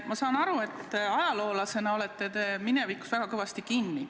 Ma saan aru, et ajaloolasena te olete minevikus väga kõvasti kinni.